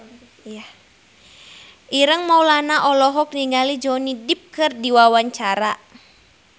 Ireng Maulana olohok ningali Johnny Depp keur diwawancara